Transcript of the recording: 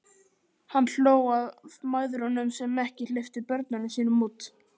Hann hló að mæðrunum sem ekki hleyptu börnunum sínum út.